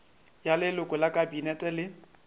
ya leloko la kabinete le